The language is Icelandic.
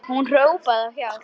Hún hrópar á hjálp.